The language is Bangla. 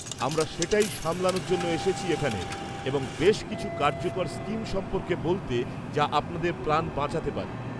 -আমরা সেটাই সামলানোর জন্য এসেছি এখানে, এবং বেশ কিছু কার্যকর স্কিম সম্পর্কে বলতে, যা আপনাদের প্রাণ বাঁচাতে পারে।